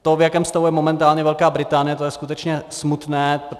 To, v jakém stavu je momentálně Velká Británie, to je skutečně smutné.